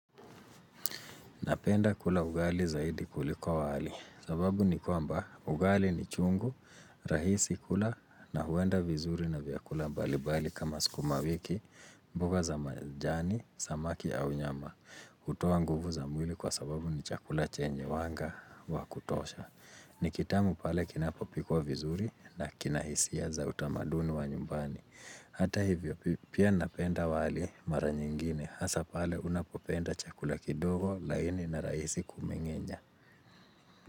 Napenda kula ugali zaidi kuliko wali, sababu ni kwamba ugali ni chungu, rahisi kula na huenda vizuri na vyakula balibali kama sikumawiki, mboga za majani, samaki au nyama, utoa nguvu za mwili kwa sababu ni chakula chenye wanga wa kutosha. Ni kitamu pale kinapopikwa vizuri na kinahisia za utamaduni wa nyumbani Hata hivyo pia napenda wali mara nyingine Hasa pale unapopenda chakula kidogo laini na raisi kumingenja.